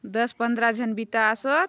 दस पन्द्रह जन बिता आसोत।